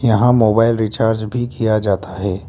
यहां mobile recharge भी किया जाता है।